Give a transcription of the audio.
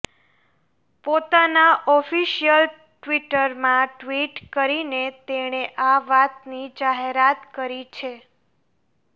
પોતાનાં ઓફિશિયલ ટ્વીટરમાં ટ્વીટ કરીને તેણે આ વાતની જાહેરાત કરી છે